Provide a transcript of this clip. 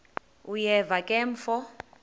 uyeva ke mfo